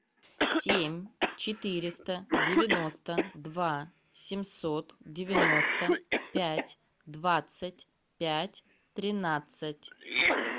семь четыреста девяносто два семьсот девяносто пять двадцать пять тринадцать